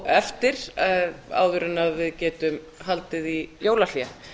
eftir áður en við getum haldið í jólahlé